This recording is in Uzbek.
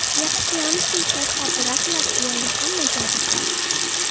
Yaxshiyamki, kassa apparatlari deyarli hamma joyda bor.